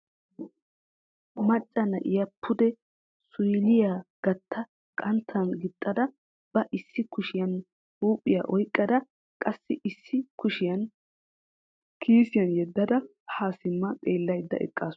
Macca na'iya pude suuyliya gatta qanttan gixxada ba issi kushiyaan huuphiyaa oyqqada qassi issi kushiyaa kiisiyan yeddada ha simma xeellaydda eqqaasu.